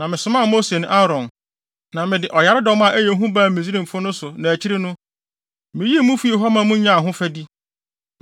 “Na mesomaa Mose ne Aaron, na mede ɔyaredɔm a ɛyɛ hu baa Misraimfo no so na akyiri no, miyii mo fii hɔ ma munyaa ahofadi.